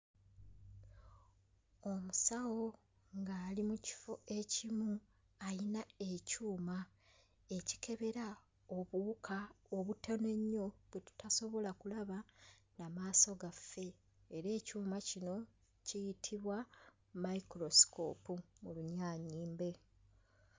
Omusawo ng'ali mu kifo ekimu ayina ekyuma ekikebera obuwuka obutono ennyo bwe tutasobola kulaba na maaso gaffe era ekyuma kino kiyitibwa microscope mu Lunyaanyimbe